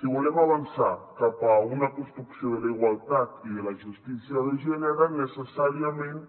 si volem avançar cap a una construcció de la igualtat i de la justícia de gènere necessàriament